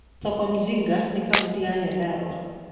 Soko mjinga ĩ kautĩ ya Nyandarũa